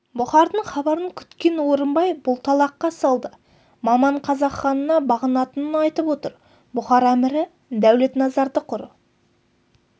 бұхардың хабарын күткен орынбай бұлталаққа салды маман қазақ ханына бағынатынын айтып отыр бұхар әмірі дәулетназарды құр